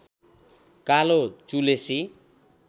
कालो चुलेसी